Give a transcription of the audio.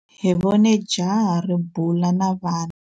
Hi vone jaha ri bula na vana.